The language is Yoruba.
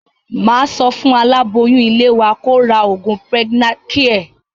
Màá sọ fún aláboyún ilé wa kó ra oògùn Pregnacare